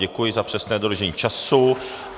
Děkuji za přesné dodržení času.